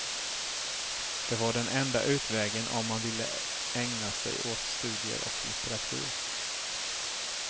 Det var den enda utvägen om man ville ägna sig åt studier och litteratur.